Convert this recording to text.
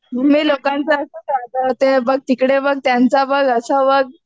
Mummy लोकांचं असंच असतं. ते बघ, तिकडे बघ, त्यांचं बघ, असं बघ.